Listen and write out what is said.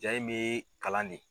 Jaa in bɛ kalan ne.